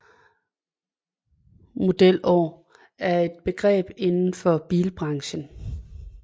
Modelår er et begreb inden for bilbranchen